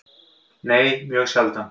Nei, mjög sjaldan.